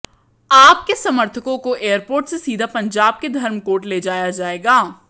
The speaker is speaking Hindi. आप के समर्थकों को एयरपोर्ट से सीधे पंजाब के धर्मकोट ले जाया जायेगा